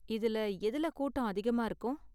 இதுல எதுல கூட்டம் அதிகமா இருக்கும்?